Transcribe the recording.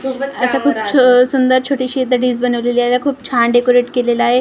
असा खूप छ सुंदर छोटीशी दडीज बनवली आहे याला खूप छान डेकोरेट केलेलं आहे खा--